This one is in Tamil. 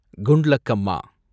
குண்ட்லக்கம்மா